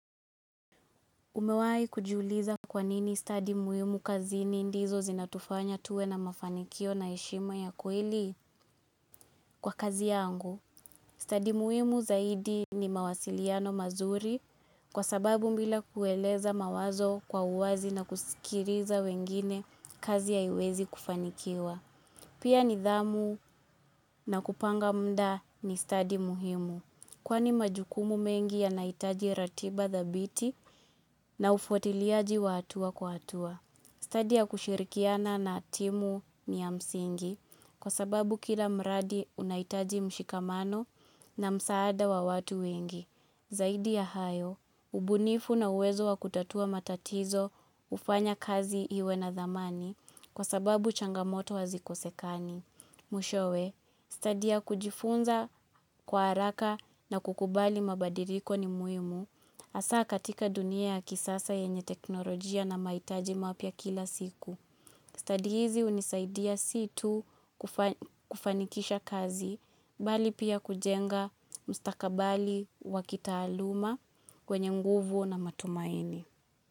Umewahi kujiuliza kwanini stadi muhimu kazini ndizo zinatufanya tuwe na mafanikio na heshima ya kweli kwa kazi yangu. Stadi muhimu zaidi ni mawasiliano mazuri kwa sababu bila kueleza mawazo kwa uwazi na kusikiliza wengine kazi haiwezi kufanikiwa. Pia nidhamu na kupanga muda ni stadi muhimu. Kwani majukumu mengi yanahitaji ratiba thabiti na ufuatiliaji wa hatua kwa hatua. Stadi ya kushirikiana na timu ni ya msingi kwa sababu kila mradi unahitaji mshikamano na msaada wa watu wengi. Zaidi ya hayo, ubunifu na uwezo wa kutatua matatizo hufanya kazi iwe na thamani kwa sababu changamoto hazikosekani. Mwishowe, stadi ya kujifunza kwa haraka na kukubali mabadiriko ni muhimu hasa katika dunia ya kisasa yenye teknolojia na maitaji mapya kila siku. Stadi hizi unisaidia situ kufanikisha kazi, bali pia kujenga mustakabali wakitaaluma wenye nguvu na matumaini.